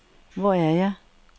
Hvor er jeg